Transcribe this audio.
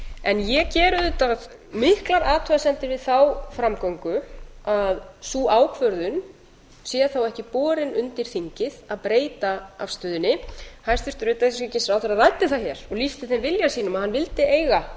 en ég geri auðvitað miklar athugasemdir við þá framgöngu að sú ákvörðun sé þá ekki borin undir þingið að breyta afstöðunni hæstvirtur utanríkisráðherra ræddi það hér og lýsti þeim vilja sínum að hann vildi eiga